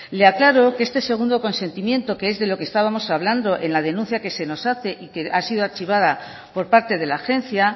le aclaro que este segundo consentimiento que es de lo que estábamos hablando en la denuncia que se nos hace y que ha sido archivada por parte de la agencia